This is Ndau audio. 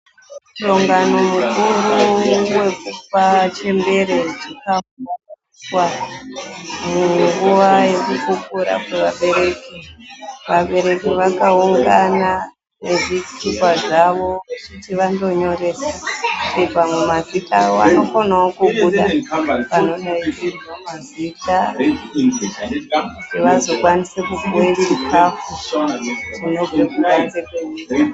Musangano mukuru wekupa chembere chikafu wakaita munguwa yekukukura. Vabereki vakaungana nezvitupa zvavo kuti vandonyoresa kuti mazita awo anokonawo kubuda panodaidzirwa mazita kuti vazokwanise kupuwe chikafu chinobve kubanze mwenyika.